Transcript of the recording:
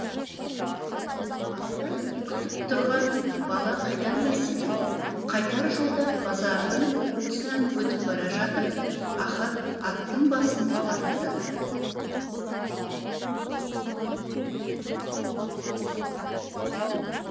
алда не күтіп тұрғанын бала қайдан білсін қайтар жолда базардың тұсынан өтіп бара жатып ахат аттың басын тартты